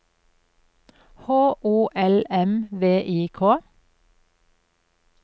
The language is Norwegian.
H O L M V I K